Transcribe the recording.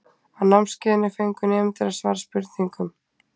á námskeiðinu fengu nemendur að svara spurningum